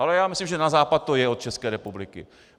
Ale já myslím, že na západ to je od České republiky.